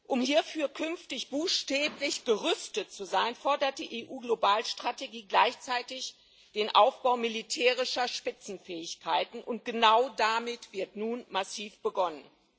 Um hierfür künftig buchstäblich gerüstet zu sein, fordert die EU Globalstrategie gleichzeitig den Aufbau militärischer Spitzenfähigkeiten, und genau damit wird nun massiv begonnen.